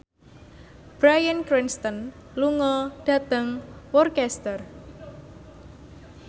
Bryan Cranston lunga dhateng Worcester